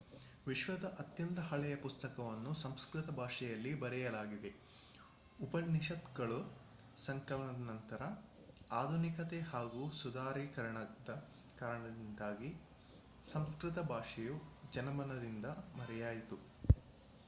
ವಿಶ್ವದ ಅತ್ಯಂತ ಹಳೆಯ ಪುಸ್ತಕವನ್ನು ಸಂಸ್ಕೃತ ಭಾಷೆಯಲ್ಲಿ ಬರೆಯಲಾಗಿದೆ ಉಪನಿಷತ್ತುಗಳ ಸಂಕಲನದ ನಂತರ ಆಧುನಿಕತೆ ಹಾಗೂ ಸುಧಾರೀಕರಣದ ಕಾರಣದಿಂದಾಗಿ ಸಂಸ್ಕೃತ ಭಾಷೆಯು ಜನಮನದಿಂದ ಮರೆಯಾಯಿತು